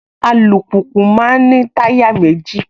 Alùpùpù máa ń ní táyà méjì